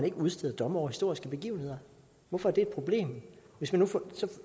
at udstede domme over historiske begivenheder hvorfor er det et problem